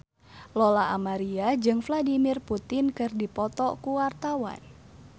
Lola Amaria jeung Vladimir Putin keur dipoto ku wartawan